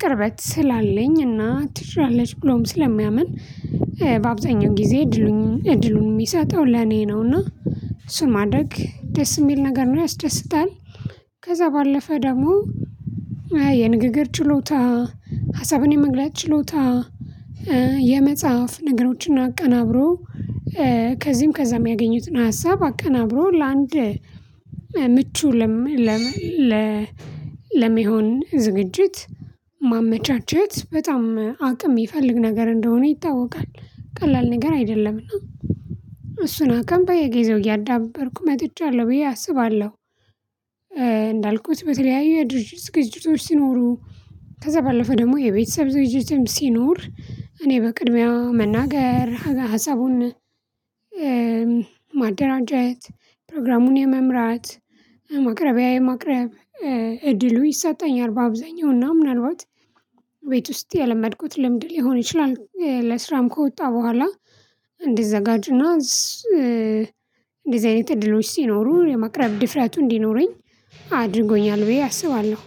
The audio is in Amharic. ቅርበት ስላለኝ እና ትሽራለች ብሎም ስለሚያምን በአብዛኛው ጊዜ እድሉን እድሉን የሚሰጠው ለኔ ነው እና እሱ ማድረግ ደስ የሚል ነገር ነው ያስደስታል። ከዛ ባለፈ ደግሞ የንግግር ችሎታ ሀሳብን የመግለጥ ችሎታ የመጽሐፍ ነገሮችን አቀናብሮ ከዚህም ከዚያም ያገኙትን ሀሳብ አቀናብሮ ለአንድ ምቹ ለመሆን ዝግጅት ማመቻቸት በጣም አቅም የሚፈልግ ነገር እንደሆነ ይታወቃል ቀላል ነገር አይደለምና። እሱን አቅም ባይ ገዘው እያዳበርኩ መጥቻለሁ ብዬ አስባለሁ። በተለያዩ ድርጅቶች ሲኖሩ ከዛ ባለፈ ደግሞ የቤተሰብ ድርጅትም ሲኖር እኔ በቅድሚያ መናገር ሀሳቡን ማደራጀት ፕሮግራሙን የመምራት ማቅረቢያ የማቅረብ እድሉ ይሰጠኛል። በአብዛኛው እና ምናልባት ቤት ውስጥ የለመድኩት ልምድ ሊሆን ይችላል ለስራም ከወጣ በኋላ እንዲዘጋጁና እንደዚህ አይነት እድሎች ሲኖሩ የማቅረብ ድፍረቱ እንዲኖረኝ አድርጎኛል ብዬ አስባለሁ